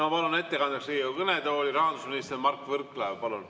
Palun ettekandeks Riigikogu kõnetooli, rahandusminister Mart Võrklaev!